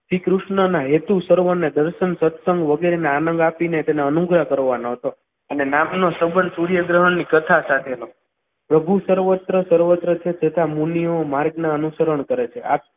શ્રીકૃષ્ણના હેતુ સર્વોને સત્સંગ વગેરેના આનંદ આપીને તેના અનુગ્રહ કરવાનો હતો અને નામનો સંબંધ સૂર્યગ્રહણની કથા સાથેનો પ્રભુ સર્વત્ર સર્વત્ર છે તથા મુનિયો માર્ગના અનુસરણ કરે છે.